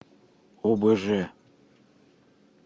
обж